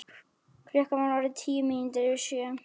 Klukkan var orðin tíu mínútur yfir sjö.